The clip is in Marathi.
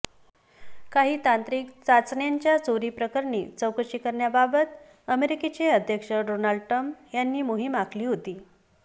काही तांत्रिक चाचण्यांच्या चोरी प्रकरणी चौकशी करण्याबाबत अमेरिकेचे अध्यक्ष डोनाल्ड ट्रम्प यांनी मोहीम आखली होती